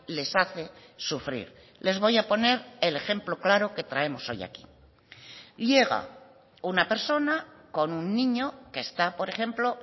les hace sufrir les voy a poner el ejemplo claro que traemos hoy aquí llega una persona con un niño que está por ejemplo